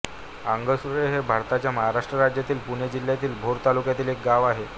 आंगसुळे हे भारताच्या महाराष्ट्र राज्यातील पुणे जिल्ह्यातील भोर तालुक्यातील एक गाव आहे